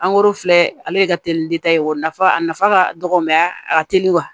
filɛ ale de ka teli ekɔli nafa a nafa ka dɔgɔ mɛ a ka teli wa